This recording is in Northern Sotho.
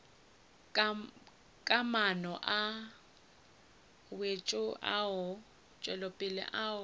ka maano a wetšopele ao